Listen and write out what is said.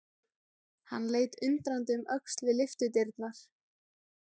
Hann leit undrandi um öxl við lyftudyrnar.